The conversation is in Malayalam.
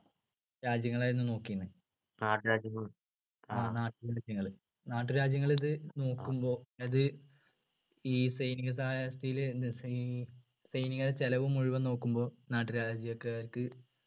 രാജ്യങ്ങൾ ആയിരുന്നു നോക്കിയിരുന്നത് ആ നാട്ടുരാജ്യങ്ങൾ നാട്ടുരാജ്യങ്ങൾ ഇത് നോക്കുമ്പോ ഇത് ഈ സൈനിക സഹായക വ്യവസ്ഥയിൽ ന സൈ സൈനികരുടെ ചെലവ് മുഴുവൻ നോക്കുമ്പോൾ നാട്ടുരാജ്യക്കാർക്ക്